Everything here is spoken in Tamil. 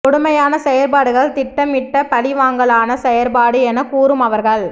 கொடுமையான செயற்பாடுகள் திட்டம் இட்ட பழிவாங்கலான செயற்பாடு என கூறும் அவர்கள்